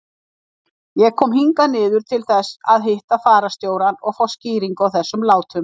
Ég kom hingað niður til þess að hitta fararstjórann og fá skýringu á þessum látum.